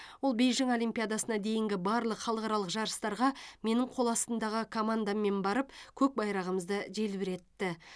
ол бейжің олимпиадасына дейінгі барлық халықаралық жарыстарға менің қоластымдағы командаммен барып көк байрағымызды желбіретті